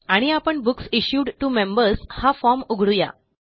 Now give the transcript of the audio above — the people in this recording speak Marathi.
आणि आपण बुक्स इश्यूड टीओ मेंबर्स हा फॉर्म उघडू या